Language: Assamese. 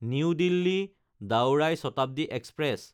new দিল্লী–দাওৰাই Shatabdi express